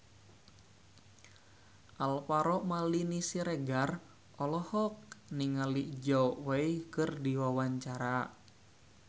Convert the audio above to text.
Alvaro Maldini Siregar olohok ningali Zhao Wei keur diwawancara